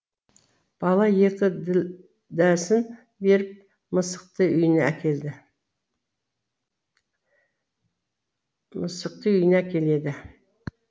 бала екі ділдәсін беріп мысықты үйіне әкеледі